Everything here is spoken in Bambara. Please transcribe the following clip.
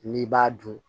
N'i b'a dun